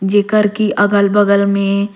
जेकर की अगल-बगल में--